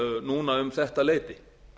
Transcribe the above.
núna um þetta leyti